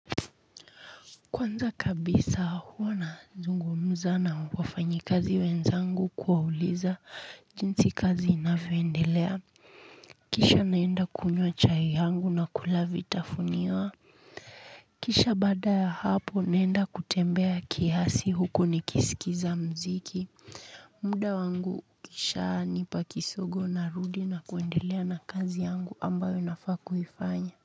Kwanza kabisa huwa nazungumza na wafanyikazi wenzangu kuwauliza jinsi kazi inavyoendelea kisha naenda kunywa chai yangu na kula vitafunio kisha baada ya hapo naenda kutembea kiasi huku nikiskiza mziki. Muda wangu kisha nipa kisogo narudi na kuendelea na kazi yangu ambayo nafaa kuifanya.